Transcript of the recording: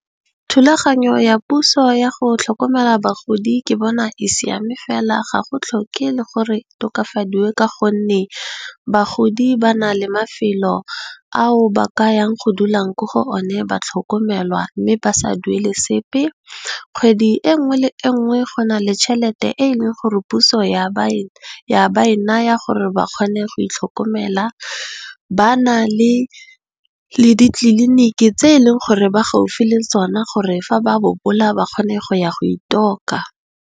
Thulaganyo ya puso ya go tlhokomela bagodi ke bona e siame fela, ga go tlhokege le gore e tokafadiwe ka gonne, bagodi ba na le mafelo ao ba ka yang go dula ko go one ba tlhokomelwa mme, ba sa duele sepe. Kgwedi e nngwe le nngwe go na le tšhelete e leng gore puso ya ba naya gore ba kgone go itlhokomela, ba na le ditliliniki tse e leng gore ba gaufi le tsona gore fa ba bobola ba kgone go ya go itoka.